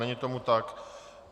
Není tomu tak.